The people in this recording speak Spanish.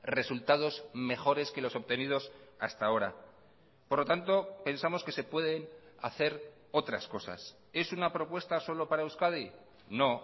resultados mejores que los obtenidos hasta ahora por lo tanto pensamos que se pueden hacer otras cosas es una propuesta solo para euskadi no